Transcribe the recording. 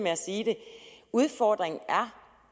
udfordringen er